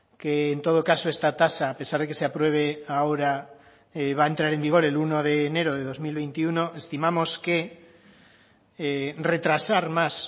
que en todo caso esta tasa a pesar de que se apruebe ahora va a entrar en vigor el uno de enero de dos mil veintiuno estimamos que retrasar más